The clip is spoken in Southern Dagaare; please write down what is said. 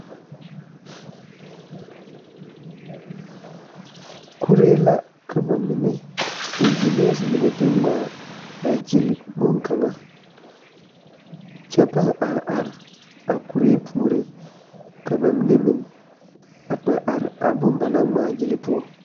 Bondirii ne laa la biŋ dɔɔ kaŋ naŋ su kparoo nuŋmaara a eŋ nimikyaana a zeŋ a be ka bie kaŋ meŋ naŋ su kpare buluu ane bompelaaa a suuro a dɔɔ bondirii.